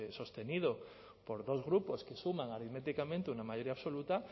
sostenido por dos grupos que suman aritméticamente una mayoría absoluta